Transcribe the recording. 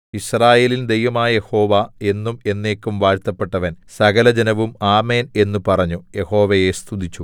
യിസ്രായേലിൻ ദൈവമായ യഹോവ എന്നും എന്നേക്കും വാഴ്ത്തപ്പെട്ടവൻ സകലജനവും ആമേൻ എന്നു പറഞ്ഞു യഹോവയെ സ്തുതിച്ചു